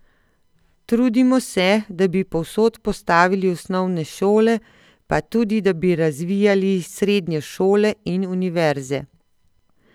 Trudimo se, da bi povsod postavili osnovne šole pa tudi da bi razvijali srednje šole in univerze.